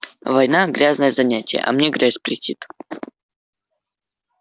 война грязное занятие а мне грязь претит